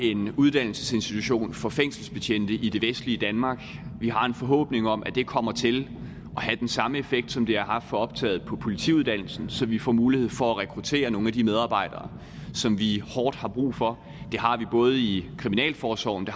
en uddannelsesinstitution for fængselsbetjente i det vestlige danmark vi har en forhåbning om at det kommer til at have den samme effekt som det har haft for optaget på politiuddannelsen så vi får mulighed for at rekruttere nogle af de medarbejdere som vi hårdt har brug for det har vi både i kriminalforsorgen